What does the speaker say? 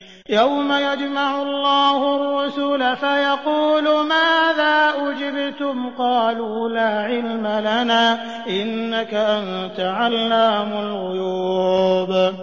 ۞ يَوْمَ يَجْمَعُ اللَّهُ الرُّسُلَ فَيَقُولُ مَاذَا أُجِبْتُمْ ۖ قَالُوا لَا عِلْمَ لَنَا ۖ إِنَّكَ أَنتَ عَلَّامُ الْغُيُوبِ